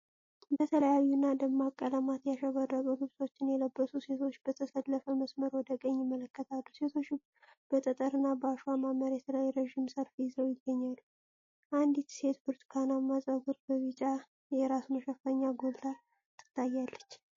በተለያዩና ደማቅ ቀለማት ያሸበረቁ ልብሶችን የለበሱ ሴቶች በተሰለፈ መስመር ወደ ቀኝ ይመለከታሉ። ሴቶቹ በጠጠርና በአሸዋማ መሬት ላይ ረጅም ሰልፍ ይዘው ይገኛሉ። አንዲት ሴት በብርቱካናማ ጸጉርና በቢጫ የራስ መሸፈኛ ጎልታ ትታያለች።